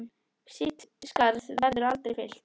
Þitt skarð verður aldrei fyllt.